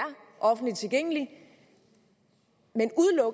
offentligt tilgængelig